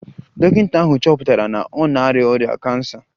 Dọkịta ahụ chọpụtara na ọ na-arịa ọrịa kansa